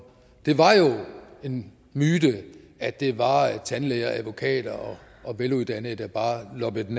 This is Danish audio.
det var jo en myte at det var tandlæger advokater og veluddannede der bare loppede den